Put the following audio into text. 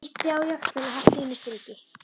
Bíttu á jaxlinn og haltu þínu striki.